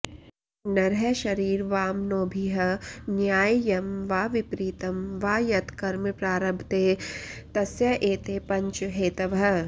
नरः शरीरवाङ्मनोभिः न्याय्यं वा विपरीतं वा यत् कर्म प्रारभते तस्य एते पञ्च हेतवः